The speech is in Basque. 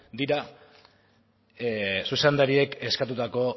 dira zuzendariek eskatutako